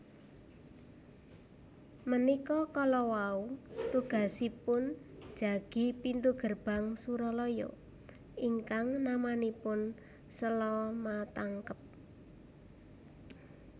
Menikå kålåwåu tugasipun jagi pintu gerbang Surålåyå ingkang namanipun Selamatangkep